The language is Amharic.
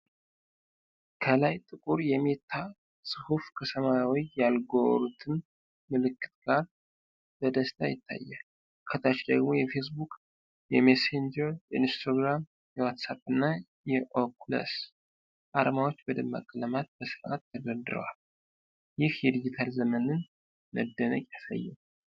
ከላይ ጥቁር የ'Meta' ጽሁፍ ከሰማያዊ የአልጎሮትም ምልክት ጋር በደስታ ይታያል። ከታች ደግሞ የፌስቡክ፣ የመሴንጀር፣ የኢንስታግራም፣ የዋትሳፕ እና የኦኩለስ አርማዎች በደማቅ ቀለማት በስርዓት ተደርድረዋል። ይህ የዲጂታል ዘመንን መደነቅ ያሳያል።